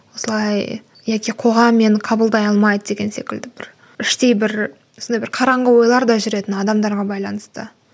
осылай яки қоғам мені қабылдай алмайды деген секілді бір іштей бір сондай бір қараңғы ойларда жүретін адамдарға байланысты